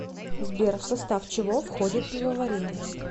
сбер в состав чего входит пивоварение